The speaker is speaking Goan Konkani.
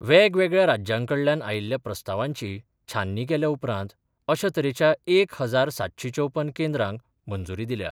वेगवेगळ्या राज्यांकडल्यान आयिल्ल्या प्रस्तावांची छाननी केल्या उपरांत अशा तरेच्या एक हजार सातशी चौपन केंद्रांक मंजुरी दिल्या.